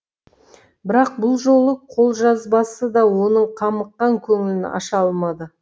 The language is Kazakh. бірақ бұл жолы қолжазбасы да оның қамыққан көңілін аша алмады